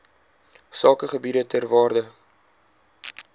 sakegebiede ter waarde